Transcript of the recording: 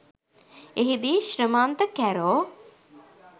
එහිදී ශ්‍රමන්ත කැරෝ